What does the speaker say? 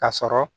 Ka sɔrɔ